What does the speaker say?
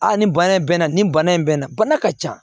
Aa nin bana in bɛ na nin bana in bɛ na bana ka ca